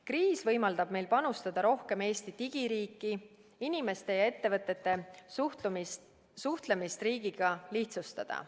Kriis võimaldab meil panustada rohkem Eesti digiriiki ning inimeste ja ettevõtete suhtlemist riigiga lihtsustada.